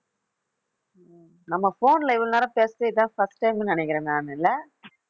நம்ம phone ல இவ்வளவு நேரம் பேசறது இதுதான் first time ன்னு நினைக்கிறேன் நானு இல்லை